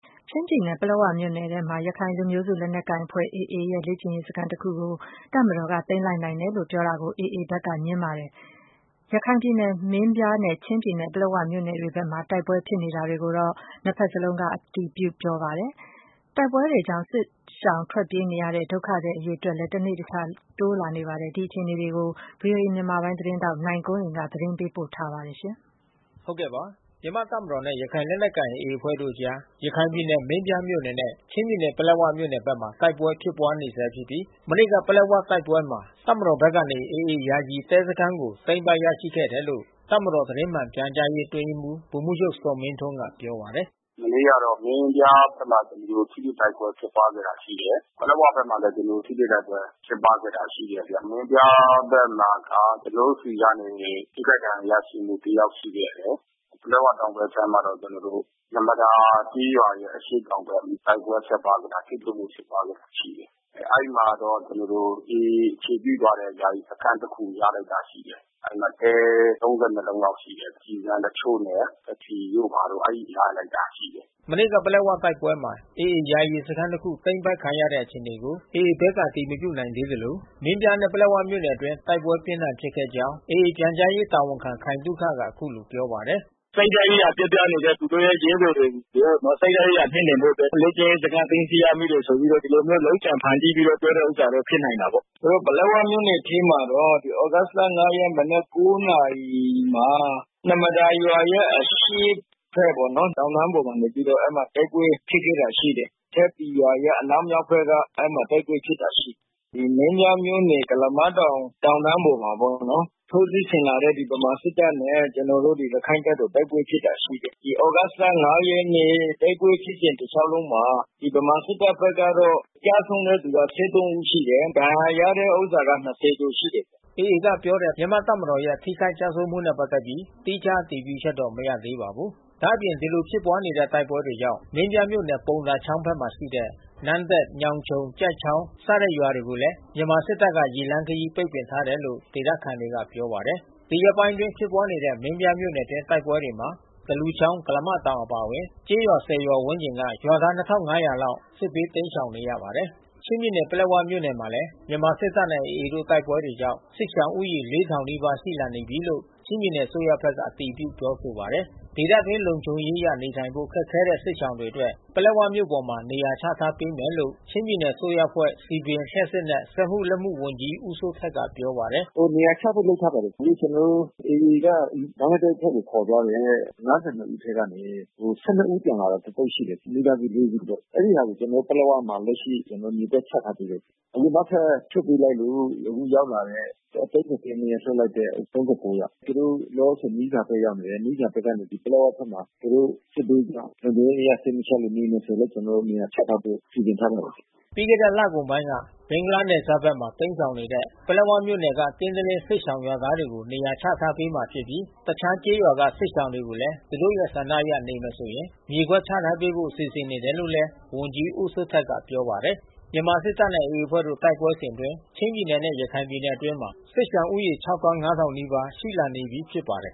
ချင်းပြည်နယ်၊ ပလက်ဝမြို့နယ်ထဲမှာ ရခိုင်လူမျိုးစုလက်နက်ကိုင်အဖွဲ့ AA ရဲ့ လေ့ကျင့်ရေးစခန်းတခုကို တပ်မတော်က သိမ်းလိုက်နိုင်တယ်လို့ ပြောတာကို AA ဘက်ကငြင်းပါတယ်။ ရခိုင်ပြည်နယ်၊ မင်းပြားနဲ့ ချင်းပြည်နယ်၊ ပလက်ဝမြို့နယ်တွေ ဘက်မှာ တိုက်ပွဲဖြစ်တာတွေကိုတော့ နှစ်ဘက်စလုံးက အတည်ပြု ပြောဆိုပါတယ်။ တိုက်ပွဲတွေကြောင့် စစ်ရှောင်ထွက်ပြေးရတဲ့ ဒုက္ခသည်အရေအတွက်လည်း တနေ့တခြား တိုးလာနေပါတယ်။ ဒီအခြေအနေတွေကို ဗွီအိုအေ မြန်မာပိုင်းသတင်းထောက် နိုင်ကွန်းအိမ်က သတင်းပေးပို့ထားပါတယ်။ မြန်မာ့တပ်မတော်နဲ့ ရခိုင်လက်နက်ကိုင်AAအဖွဲ့တို့အကြား ရခိုင်ပြည်နယ်မင်းပြားမြို့နယ်နဲ့ချင်းပြည်နယ် ပလက်၀ မြို့နယ်ဖက်မှာ တိုက်ပွဲဖြစ်ပွားနေဆဲဖြစ်ပြီး မနေ့ကပလက်ဝတိုက်ပွဲမှာ တပ်မတော်ဖက်ကနေ AAယာယီတဲစခန်းကို သိမ်းပိုက်ရရှိခဲ့တယ်လို့ တပ်မတော်သတင်းမှန်ပြန်ကြားရေးအတွင်းရေးမှူးဗိုလ်မှူးချုပ်ဇော်မင်းထွန်းကပြောပါတယ်။ “မနေ့က မင်းပြားဖက်မှာတော့ ထိတွေ့တိုက်ပွဲဖြစ်ခဲ့တာရှိတယ်။ ပလက်ဝမြို့မှာလဲကျွန်တော်တို့ ထိတွေ့တိုက်ပွဲဖြစ် ပွားခဲ့တာရှိတယ်။ မင်းပြားဖက်မှာက ကျွန်တော်တို့ဆီကနေ ထိခိုက်ဒဏ်ရာရရှိမှုတယောက်ရှိခဲ့တယ်။ ပလက်ဝတောင် ဖက်ခြမ်းမှာတော့ ကျွန်တော်တို့ နှမဒါကျေးရွာရဲ့အရှေ့တောင်ဖက် တိုက်ပွဲဖြစ်ခဲ့တာ ထိတွေ့မှုဖြစ်ပွားခဲ့တာရှိတယ်။ အဲဒီမှာတော့ကျွန်တော်တို့ AAအခြေပြုထားတဲ့ ယာယီစခန်းတခုရလိုက်တာရှိတယ်။ အဲဒီမှာတဲ လုံးလောက်ရှိတယ်။ ကျည်ဆံတချို့နဲ့ဘက္ထရီတို့ဘာတို့ အဲဒီရလိုက်တာရှိတယ်။” မနေ့က ပလက်ဝတိုက်ပွဲမှာ AAယာယီစခန်းတခု သိမ်းပိုက်ခံရတဲ့အခြေအနေကို AAဖက်ကအတည်မပြုနိုင်သေးသလို မင်းပြားနဲ့ပလက်ဝမြို့နယ်အတွင်းတိုက်ပွဲပြင်းထန်ဖြစ်ခဲ့ကြောင်း AAပြန်ကြားရေးတာဝန်ခံခိုင်သုခက အခုလိုပြော ပါတယ်။ “စိတ်ဓါတ်ရေးရာပျက်ပြားနေတဲ့ သူတို့ရဲ့ရဲဘော်တွေကို စိတ်ဓါတ်ရေးရာမြှင့်တင်ဖို့အတွက် လေ့ကျင့်ရေးစခန်း သိမ်း ဆီးရမိတယ်ဆိုပြီးတော့ ဒီလိုမျိုးလုပ်ကြံဖန်တီးပြီးတော့ ပြောတဲ့ဥစ္စာတော့ဖြစ်နိုင်တာပေါ့။ ပလက်ဝမြို့နယ်ထဲမှာတော့ သြဂုတ်လ ရက်မနက် နာရီမှာ နှမဒါရွာရဲ့အရှေ့ဖက်ပေါ့နော် တောင်တန်းပေါ်နေပြီးတော့ တိုက်ပွဲဖြစ်ပွားခဲ့ တာရှိ တယ်။ အထက်ပီရွာရဲ့အနောက်မြောက်ဖက်က အဲဒီမှာတိုက်ပွဲဖြစ်ပွားခဲ့တာရှိတယ်။ ဒီမင်းပြား မြို့နယ်ကုလးမတောင် တောင်တန်းပေါ်မှာပေါ့နော် ထိးစစ်ဆင်လာတဲ့ဗမာစစ်တပ်နဲ့ ကျွန်တော်တို့ ရခိုင်တပ်တော် တိုက်ပွဲဖြစ်ပွားခဲ့တာရှိတယ်။ ဒီသြဂုတ်လ ရက်နေ့တိုက်ပွဲဖြစ်စဉ်တလျှောက်လုံးမှာ ဗမာစစ်တပ်ဖက်ကတော့ ကျဆုံးတဲ့သူ ဦးရှိတယ်။ ဒဏ်ရာရတဲ့သူ ကျော်ရှိတယ်။” AA ကပြောတဲ့ မြန်မာ့တပ်မတော်ရဲ့ ထိခိုက် ကျဆုံးမှုနဲ့ပတ်သက်ပြီး သီးခြားအတည်ပြုချက်တော့ မရသေးပါဘူး။ ဒါ့အပြင်ဒီလိုဖြစ်ပွားတဲ့တိုက်ပွဲတွေကြောင့် မင်းပြားမြို့နယ်ပုံသာချောင်းဖက်မှာရှိတဲ့ နန်းတက် ညောင်ခြုံ ကျိုက်ချောင်း စတဲ့ရွာတွေကိုလဲ မြန်မာစစ်တပ်က ရေလမ်းခရီးပိတ်ပင်ထားတယ်လို့ ဒေသခံတွေကပြောပါတယ်။ ဒီရက်ပိုင်းအတွင်းဖြစ်ပွားနေတဲ့ မင်းပြားမြို့နယ်အတွင်းတိုက်ပွဲတွေမှာ သလူချောင်း ကုလားမတောင်အပါဝင် ကျေးရွာ ရွာဝန်းကျင်က ရွာသား လောက်ဟာ စစ်ဘေးတိမ်းရှောင်နေရပါတယ်။ ချင်းပြည်နယ်၊ ပလက်ဝမြို့နယ်မှာလဲ မြန်မာစစ်တပ်နဲ့AAတို့တိုက်ပွဲတွေကြောင့် စစ်ရှောင်ဦးရေ နီးပါးရှိလာ နေတယ်လို့ ချင်းပြည်နယ်အစိုးရဖက်ကအတည်ပြုပြောဆိုပါတယ်။ ဒေသအတွင်း လုံခြုံရေးအရနေထိုင်ဖို့ ခက်ခဲတဲ့စစ်ရှောင်တွေအတွက် ပလက်ဝမြို့ပေါ်မှာ နေရာချထားပေးမယ်လို့ ချင်းပြည်နယ်အစိုးရအဖွဲ့ စည်ပင် လျှပ်စစ်နှင့် စက်မှုလက်မှုဝန်ကြီး ဦးစိုးထက်ကပြောပါတယ်။ “နေရာချဖို့လုပ်ထားပါတယ်။ အခု AAက ဘင်္ဂလားဒေ့ကိုခေါ်သွားတဲ့ ဦးထဲကနေ ဦးပြန်လာတာတသုတ် ရှိတယ်။ မိသားစု စုပေါ့။ အဲဒီဟာတွေကျွန်တော်တို့ပလက်ဝမှာ လကရှိကျွန်တော်တို့မြေကွက်ချထားပေးတယ်။ အခုနောက်ထပ်လွှတ်ပေးလိုက်လို့ အခုရောက်လာတဲ့ ရက်နေ့ကလွှတ်လိုက်တဲ့ ယောက်။ အဲတာတွေလဲ လောလောဆယ်သူတို့မီးဇာဘက်ရောက်နေတယ်။ မီးဇာဖက်ကနေ ပလက်ဝဖက်မှာ သူတို့စစ်ဘေးရှောင် လုံခြုံရေး အရ စိတ်မချချင်လို့ နေမယ်ဆိုလဲ ကျွန်တော်တို့ နေရာချထားဖို့ စီစဉ်ထားပါတယ်။” ပြီးခဲ့တဲ့လကုန်ပိုင်းက ဘင်္ဂလားနယ်စပ်ဖက်မှာတိမ်းရှောင်နေတဲ့ ပလက်ဝမြို့နယ်က ကင်းသလင်းစစ်ရှောင်ရွာသား တွေကို နေရာချထားပေးမှာဖြစ်ပြီး တခြားကျေးရွာက စစ်ရှောင်တွေကိုလဲ သူတို့ရဲ့ဆန္ဒအရ နေမယ်ဆိုရင် မြေကွက် ချထားဖို့စီစဉ်နေတယ်လို့လဲ ဝန်ကြီးဦးစိုးထက်ကပြောပါတယ်။ မြန်မာစစ်တပ်နဲ့AAအဖွဲ့တို့တိုက်ပွဲစဉ်အတွင်း ချင်းပြည်နယ်နဲ့ ရခိုင်ပြည်နယ်အတွင်း စစ်ရှောင်ဦးရေ နီးပါး ရှိလာနေပြီးဖြစ်ပါတယ်